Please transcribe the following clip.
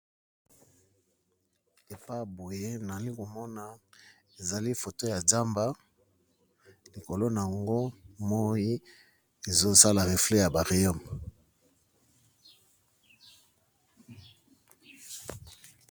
Efa boye nalikomona ezali photo yanzamba likolo nango moyi ezosala refle yababoyembo